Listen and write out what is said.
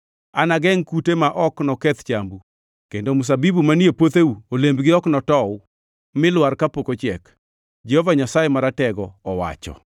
Anagengʼ kute ma ok noketh chambu, kendo mzabibu manie puotheu olembgi ok notow mi lwar kapok ochiek,” Jehova Nyasaye Maratego owacho.